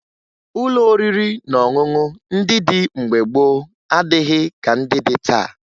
Ụlọ oriri na ọṅụṅụ ndị dị mgbe gboo adịghị ka ndị dị taa